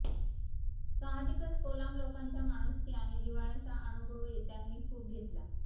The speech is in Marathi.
साहजिकच कोलाम लोकांच्या माणुसकी आणि जिव्हाळ्याचा अनुभवही त्यांनी खूप घेतला